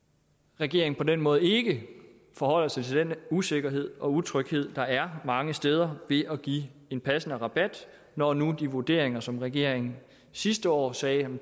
regeringen på den måde ikke forholder sig til den usikkerhed og utryghed der er mange steder ved at give en passende rabat når nu de vurderinger som regeringen sidste år sagde